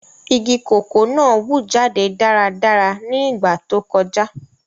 Igi koko náa wu jade daradara ni igba to kọja.